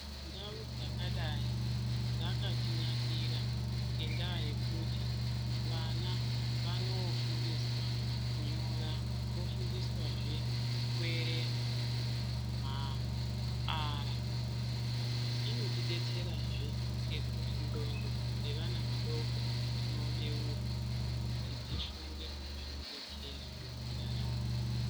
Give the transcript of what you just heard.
Ndau dzakadai, dzakatinakira ngendaa yekuti vana vanofundiswa kunyora, vofundiswa zve kuwerenga, ma r ,Inotidetsera zve ngekutingxondo dzevana vadoko dzinobeurwa kuti dzifunge zvinodetsera ntaramo.